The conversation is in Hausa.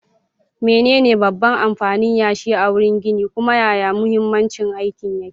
Menene babban amfanin yashi a wurin ginin, kuma yaya mahimmancin aikin yake?